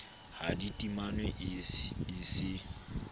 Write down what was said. ha di timanwe e se